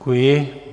Děkuji.